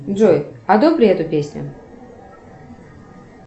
джой одобри эту песню